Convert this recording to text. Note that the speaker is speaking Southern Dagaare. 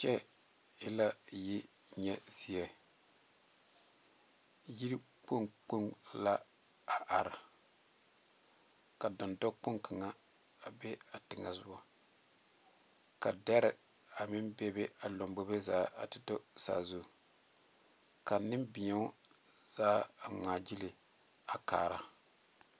Kyɛ e la yinyɛ zie yi kpoŋ kpoŋ la a are ka dɔndɔkpoŋ kaŋa be a teŋa soga ka deri a meŋ bebe a lanbobo zaa a te tɔ a zu ka Nenbɛro zaa a ŋmaa gyile kaara.